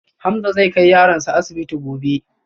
Hamza zai kai yaronsa asibiti gobe